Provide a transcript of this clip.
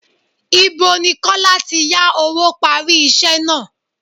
Ìbo ni Kọ́lá tí yá owó parí iṣẹ́ náà?